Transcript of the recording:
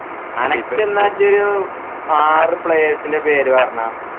അനക്ക് എന്ന ഇഞ്ചു ഒരു ആർ players ന്റെ പേര് പറഞ്ഞ